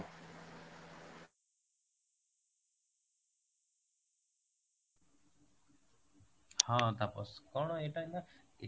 ହଁ, ତାପସ କଣ ଏଇଟା ହେଲା